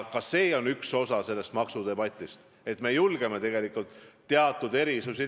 Ka see on üks osa maksudebatist, et me julgeme teha teatud erisusi.